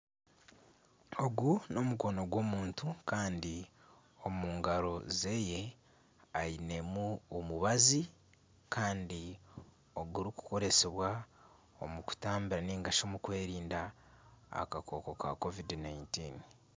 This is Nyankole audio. Ogu n'omukono gw'omuntu kandi omu ngaro zeeye ainemu omubazi kandi ogurikukoresibwa omu kutamba nigashi omu kwerinda akakooko ka covid- 19.